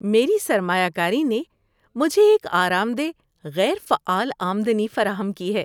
میری سرمایہ کاری نے مجھے ایک آرام دہ غیر فعال آمدنی فراہم کی ہے۔